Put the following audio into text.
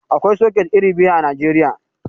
Aƙwai soket iri biyu a Najeriya.